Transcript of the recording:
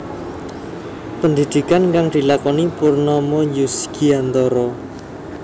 Pendhidhikan kang dilakoni Purnomo Yusgiantoro